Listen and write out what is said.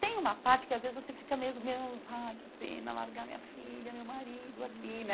Tem uma parte que, às vezes, você fica mesmo meio... Ai, que pena largar minha filha, meu marido aqui, né?